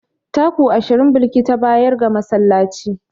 Taku ashirin Balki ta bayar ga masallaci.